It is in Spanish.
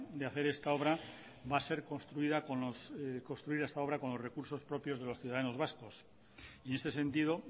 de hacer esta obra va a ser construir esta obra con los recursos propios de los ciudadanos vascos y en este sentido